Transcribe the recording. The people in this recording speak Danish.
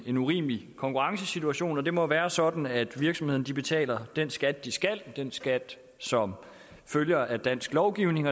en urimelig konkurrencesituation og det må være sådan at virksomhederne betaler den skat de skal den skat som følger af dansk lovgivning